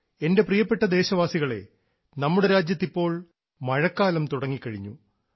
എൻറെ പ്രിയപ്പെട്ട ദേശവാസികളേ നമ്മുടെ രാജ്യത്ത് ഇപ്പോൾ മഴക്കാലം തുടങ്ങിക്കഴിഞ്ഞു